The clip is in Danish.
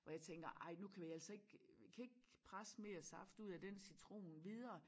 Hvor jeg tænker ej nu kan vi altså ik vi kan ikke presse mere saft ud af den citron videre